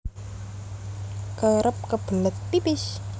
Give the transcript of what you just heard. Kerep kebelet pipis